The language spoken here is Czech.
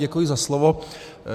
Děkuji za slovo.